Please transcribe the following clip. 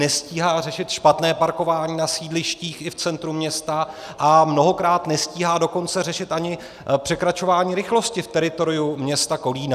Nestíhá řešit špatné parkování na sídlištích i v centru města, a mnohokrát nestíhá dokonce řešit ani překračování rychlosti v teritoriu města Kolína.